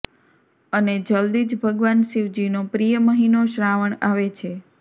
અને જલ્દી જ ભગવાન શિવજીનો પ્રિય મહિનો શ્રાવણ આવે છે